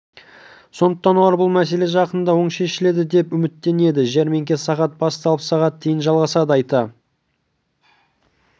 сондықтан олар бұл мәселе жақында оң шешіледі деп үміттенеді жәрмеңке сағат басталып сағат дейін жалғасады айта